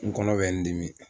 N kɔnɔ bɛ n dimi